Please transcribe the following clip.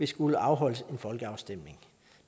skulle afholdes en folkeafstemning